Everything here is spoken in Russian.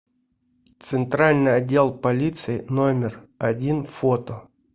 центральный отдел полиции номер один фото